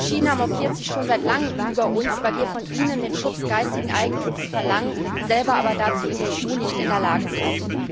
China mokiert sich schon seit langem über uns, weil wir von ihnen den Schutz geistigen Eigentums verlangen, selber aber dazu in der EU nicht in der Lage sind.